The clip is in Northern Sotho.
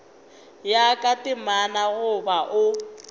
ya ka temana goba o